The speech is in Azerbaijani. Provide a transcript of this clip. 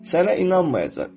Sənə inanmayacaq.